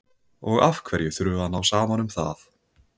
Og af hverju þurfum við að ná saman um það?